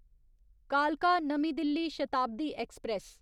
कालका नमीं दिल्ली शताब्दी ऐक्सप्रैस